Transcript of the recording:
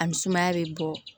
A ni sumaya bɛ bɔ